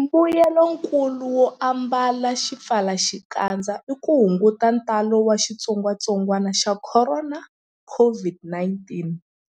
Mbuyelonkulu wo ambala swipfalaxikandza i ku hunguta ntalo wa xitsongwantsongwana xa Khorona, COVID-19,